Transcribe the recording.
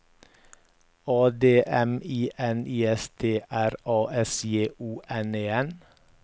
A D M I N I S T R A S J O N E N